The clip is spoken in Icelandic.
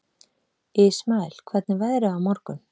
Ismael, hvernig er veðrið á morgun?